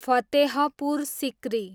Fatehpur Sikri